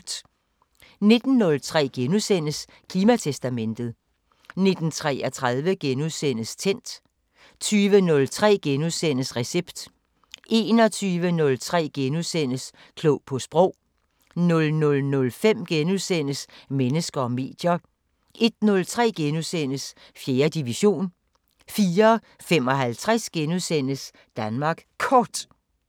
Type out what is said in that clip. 19:03: Klimatestamentet * 19:33: Tændt * 20:03: Recept * 21:03: Klog på sprog * 00:05: Mennesker og medier * 01:03: 4. division * 04:55: Danmark Kort *